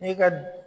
N'i ka